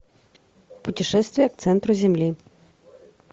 путешествие к центру земли